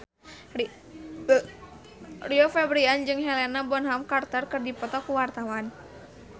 Rio Febrian jeung Helena Bonham Carter keur dipoto ku wartawan